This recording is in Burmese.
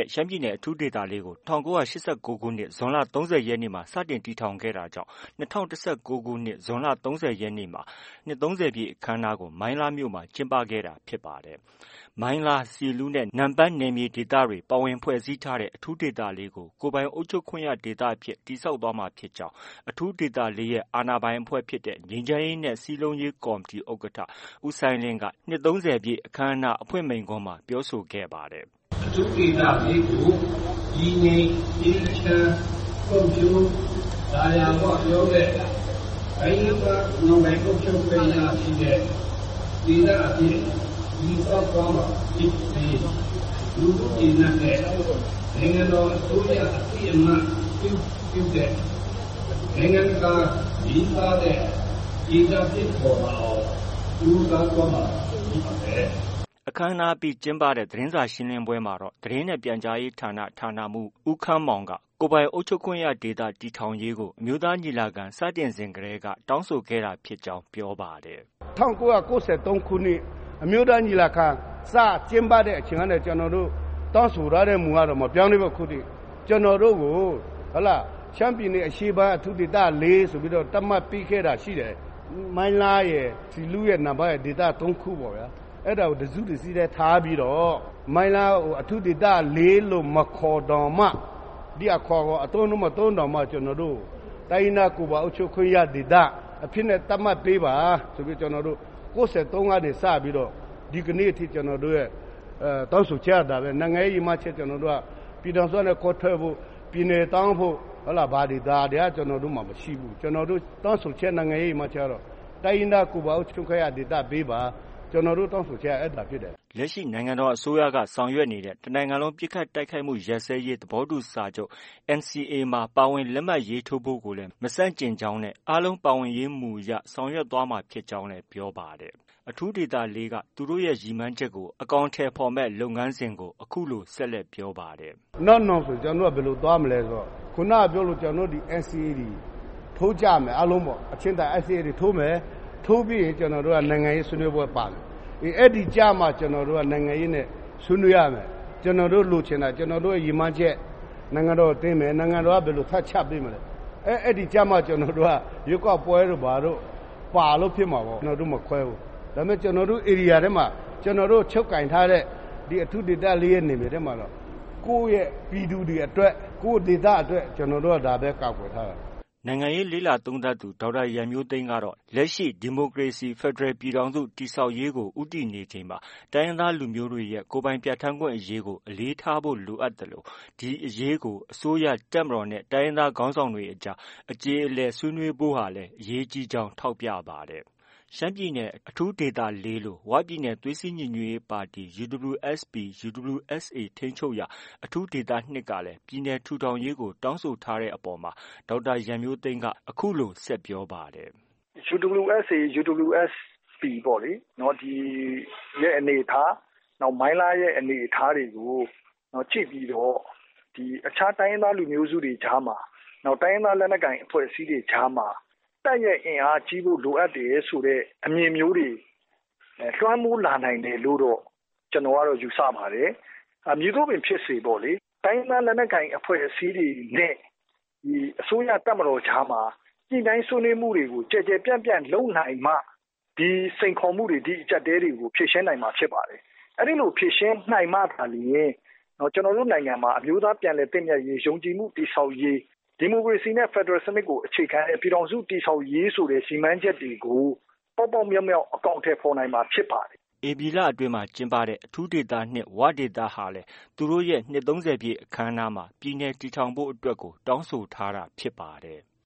ဲ့ ရှမ်းပြည်နယ်အရှေ့ပိုင်း အထူးဒေသ ၄ ကို ၁၉၈၉ ခုနှစ် ဇွန်လ ၃၀ ရက်နေ့မှာ စတင်တည်ထောင်ခဲ့တာကြောင့် ၂၀၁၉ ခုနှစ် ဇွန်လ ၃၀ ရက်နေ့မှာ နှစ် ၃၀ ပြည့်အခမ်းအနားကို မိုင်းလားမြို့မှာ ကျင်းပခဲ့တာဖြစ်ပါတယ်။ မိုင်းလား၊ ဆီလူးနဲ့ နမ့်ပန်း နယ်မြေဒေသတွေ ပါဝင်ဖွဲ့စည်းထားတဲ့ အထူးဒေသ ၄ ကို ကိုယ်ပိုင်အုပ်ချုပ်ခွင့်ရဒေသအဖြစ် တည်ဆောက်သွားမှာဖြစ်ကြောင်း အထူးဒေသ ၄ ရဲ့အာဏာပိုင်အဖဲ့ွဖြစ်တဲ့ ငြိမ်းချမ်းရေးနဲ့ စည်းလုံးရေးကော်မတီ ဥက္ကဋ္ဌ ဦးစိုင်းလင်းက နှစ် ၃၀ပြည့် အခမ်းအနားအဖွင့်မိန့်ခွန်းမှာ ပြောဆိုခဲ့ပါတယ်။ “အထူးဒေသ ၄ ကို တည်ငြိမ် အေးချမ်း ဖွံ့ဖြိုး သာယာဝပြောတဲ့ တိုင်းရင်းသား ကိုယ်ပိုင်အုပ်ချုပ်ခွင့်ရ ပြည်နယ်ဒေသအဖြစ် တည်ဆောက်သွားမှာဖြစ်ပြီး လူထုကျေနပ်တဲ့ နိုင်ငံတော်အစိုးရ အသိအမှတ်ပြုတဲ့ နိုင်ငံတကာ လေးစားတဲ့ ဒေသဖြစ်ပေါ်လာအောင် ကြိုးစားသွားမှာ ဖြစ်ပါတယ်။” အခမ်းအနားအပြီး ကျင်းပတဲ့ သတင်းစာ ရှင်းလင်းပွဲမှာတော့ သတင်းနဲ့ ပြန်ကြားရေးဌာန ဌာနမှူး ဦးခမ်းမောင်က ကိုယ်ပိုင်အုပ်ချုပ်ခွင့်ရဒေသ တည်ထောင်ရေးကို အမျိုးသားညီလာခံ စတင်စဉ်ကတည်းက တောင်းဆိုခဲ့ကြောင်း ပြောပါတယ်။ “၁၉၉၃ ခုနှစ် အမျိုးသားညီလာခံ စကျင်းပတဲ့အချိန်ကနေ တောင်းဆိုထားတဲ့ မူကတော့ မပြောင်းလဲဘူး အခုထိ။ ကျနော်တို့ကို ရှမ်းပြည်နယ်အရှေ့ပိုင်း အထူးဒေသ ၄ အဖြစ် သတ်မှတ်ပေးခဲ့တာ ရှိတယ်။ မိုင်းလားရယ်၊ ဆီလူးရယ်၊ နမ့်ပန်းရယ် အဲဒီ ဒေသ ၃ ခု၊ အဲဒါကို တစ်စုတစ်စည်းတည်းထားပြီးတော့ မိုင်းလားကို အထူးဒေသ ၄ လို့ မခေါ်တောင်မှ ဒီအခေါ်အဝေါ် အသုံးအနှုန်းမသုံးတောင်မှ တိုင်းရင်းသားကိုယ်ပိုင်အုပ်ချုပ်ခွင့်ရဒေသ အဖြစ်နဲ့ သတ်မှတ်ပေးပါဆိုပြီး ကျနော်တို့ ၉၃ ကနေစပြီး ဒီကနေ့အထိ ကျနော်တို့ရဲ့ တောင်းဆိုချက်က ဒါပဲ။ နိုင်ငံရေးရည်မှန်းချက်က ပြည်ထောင်စုကနေ ခွဲထွက်ဖု့ိ ပြည်နယ်တောင်းဖို့ ဒါတွေက ကျနော်တို့မှာ မရှိဘူး။ ကျနော်တို့ တောင်းဆိုချက်မှာကျတော့ တိုင်းရင်းသားကိုယ်ပိုင်အုပ်ချုပ်ခွင့်ရဒေသ ပေးပါ။ ကျနော်တို့ တောင်းဆိုချက်က ဒါပဲလေ။” လက်ရှိ နိုင်ငံတော်အစိုးရက ဆောင်ရွက်နေတဲ့ တနိုင်ငံလုံး ပစ်ခတ်တိုက်ခိုက်မှု ရပ်စဲရေးသဘောတူစာချုပ် NCA မှာ ပါဝင်လက်မှတ် ရေးထိုးဖို့ကိုလည်း မဆန့်ကျင်ကြောင်း၊ အားလုံးပါဝင်ရေးမူအရ ဆောင်ရွက်သွားမှာဖြစ်ကြောင်းလည်း ပြောပါတယ်။ အထူးဒေသ ၄ က သူတို့ ရည်မှန်းချက်ကို အကောင်အထည်ဖော်မယ့် လုပ်ငန်းစဉ်ကို အခုလို ဆက်လက် ပြောပါတယ်။ “နောက်နောင်ဆို ကျနော်တို့က ဘယ်လိုသွားမလဲဆိုတော့ ကျနော်တို့က NCA ထိုးကြမယ်။ အားလုံးပေါ့။ အချိန်တန်ရင် NCA ထိုးကြမယ်။ ထိုးပြီးရင် ကျနော်တို့က နိုင်ငံရေးဆွေးနွေးပွဲပါမယ်။ အဲဒီကျမှ ကျနော်တို့က နိုင်ငံရေးဆွေးနွေးရမယ်။ ကျနော်တို့ လိုချင်တာ၊ ကျနော်တို့ရဲ့ ရည်မှန်းချက် နိုင်ငံတော်တင်မယ်။ နိုင်ငံတော်က ဘာထပ်ချပေးမလဲ။ အဲဒီကျမှ ကျနော်တို့ ရွေးကောက်ပွဲတို့ ဘာတို့ ပါလို့ ဖြစ်မှာပေါ့။ ကျနော်တို့ မခွဲဘူး။ ဒါပေမဲ့ ကျနော်တို့ ဧရိယာထဲမှာ၊ ကျနော်တို့ ချုပ်ကိုင်ထားတဲ့ အထူးဒေသ ၄ မှာ ကိုယ့်ရဲ့ ပြည်သူတွေအတွက် ကိုယ့်ဒေသအတွက် ကာကွယ်သွားမယ်။” နိုင်ငံရေး လေ့လာသုံးသပ်သူ ဒေါက်တာရန်မျိုးသိမ်းကတော့ လက်ရှိ ဒီမိုကရေစီဖက်ဒရယ်ပြည်ထောင်စု တည်ဆောက်ရေးကို ဦးတည်နေချိန်မှာ တိုင်းရင်းသားလူမျိုးတွေရဲ့ ကိုယ်ပိုင်ပြဌာန်းခွင့်အရေးကို အလေးထားဖို့ လိုအပ်သလို ဒီအရေးကို အစိုးရ၊ တပ်မတော်နဲ့ တိုင်းရင်းသားခေါင်းဆောင်တွေအကြား အကြေအလည် ဆွေးနွေးဖို့ကလည်း အရေးကြီးကြောင်း ထောက်ပြပါတယ်။ ရှမ်းပြည်နယ် အထူးဒေသ ၄ လို ဝပြည်နယ် သွေးစည်းညီညွှတ်ရေးပါတီ UWSP/ UWSA ထိန်းချုပ်ရာ အထူးဒေသ၂ ကလည်း ပြည်နယ်ထူထောင်ရေးကို တောင်းဆိုထားတဲ့အပေါ်မှာ ဒေါက်တာရန်မျိုးသိမ်းက အခုလို ဆက်ပြောပါတယ်။ “UWSA/ UWSP ပေါ့ ဒီရဲ့အနေအထား၊ နောက်ပြီး မိုင်းလားရဲ့အနေအထားတွေကို ကြည့်ပြီးတော့ အခြားတိုင်းရင်းသား လူမျိုးစုတွေကြားမှာ တိုင်းရင်းသား လက်နက်ကိုင်တွေကြားမှာ တပ်ရဲ့ အင်အားကြီးဖို့ လိုအပ်တယ်ဆိုတဲ့ အမြင်မျိုးတွေ လွှမ်းမိုးလာနိုင်တယ်လို့တော့ ကျနော်ကတော့ ယူဆပါတယ်။ မည်သို့ပင်ဖြစ်စေပေါ့လေ တိုင်းရင်းသား လက်နက်ကိုင်အဖွဲ့အစည်းတွေနဲ့ ဒီအစိုးရ၊ တပ်မတော်အကြားမှာ ညှိနှိုင်းဆွေးနွေးမှုတွေကို ကျယ်ကျယ်ပြန့်ပြန့် လုပ်နိုင်မှ ဒီစိန်ခေါ်မှုတွေ၊ ဒီအကျပ်အတည်းတွေကို ဖြေရှင်းနိုင်မှာ ဖြစ်တယ်။ အဲလို ဖြေရှင်းနိုင်မှသာလျှင် အမျိုးသားပြန်လည်သင့်မြတ်ရေး၊ ယုံကြည်မှု တည်ဆောက်ရေး၊ ဒီမိုကရေစီနဲ့ ဖက်ဒရယ်စနစ်ကို အခြေခံတဲ့ ပြည်ထောင်စုကို တည်ဆောက်ရေးဆိုတဲ့ ရည်မှန်းချက်တွေကို ပေါက်ပေါက်မြောက်မြောက် အကောင်အထည်ဖော်နိုင်မှာ ဖြစ်ပါတယ်။” ဧပြီလအတွင်းမှာ ကျင်းပတဲ့ အထူးဒေသ၂ ဝဒေသကလည်း သူတို့ရဲ့ နှစ် ၃၀ ပြည့်အခမ်းအနားမှာ ပြည်နယ်တည်ထောင်ဖို့အတွက်ကို တောင်းဆိုထားတာ ဖြစ်ပါတယ်။